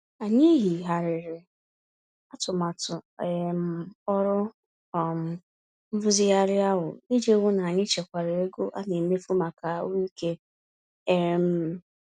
Anyị yigharịrị atụmatụ um ọrụ um nrụzigharị ahụ, iji hụ n'anyị chekwara ego ana emefu màkà ahụike. um